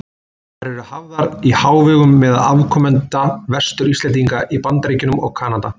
Þær eru hafðar í hávegum meðal afkomenda Vestur-Íslendinga í Bandaríkjunum og Kanada.